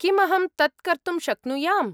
किम् अहं तत् कर्तुं शक्नुयाम्?